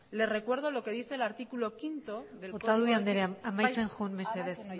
le recuerdo lo que dice el bostgarrena artículo del otadui andrea amaitzen joan mesedez